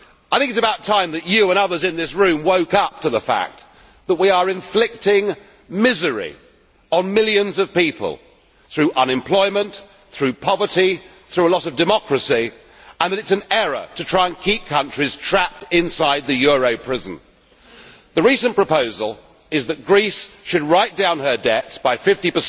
I think it is about time that you and others in this room woke up to the fact that we are inflicting misery on millions of people through unemployment, through poverty, through a loss of democracy, and that it is an error to try and keep countries trapped inside the euro prison. The recent proposal is that Greece should write down her debts by 50